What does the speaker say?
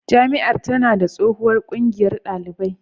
Jami'ar tana da tsohuwar ƙungiyar ɗalibai